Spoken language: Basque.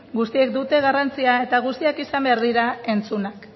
guztiek dute garrantzia eta guztiak izan behar dira entzunak